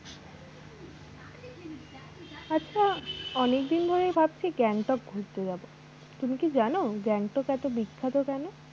আচ্ছা অনেক দিন ধরেই ভাবছি গ্যাংটক ঘুরতে যাবো তুমি কি জানো গ্যাংটক এতো বিখ্যাত কেনো?